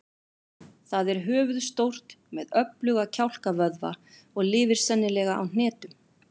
Það er höfuðstórt með öfluga kjálkavöðva og lifir sennilega á hnetum.